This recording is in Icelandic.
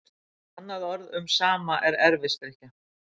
Annað orð um sama er erfisdrykkja.